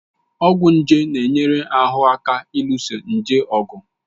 Ọgwụ nje na-enyere ahụ aka ịlụso nje ọgụ